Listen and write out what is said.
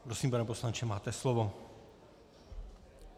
Prosím, pane poslanče, máte slovo.